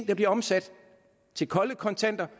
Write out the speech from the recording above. der bliver omsat til kolde kontanter